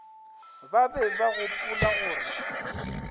ba be ba gopola gore